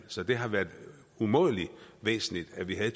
så det har været umådelig væsentligt at vi har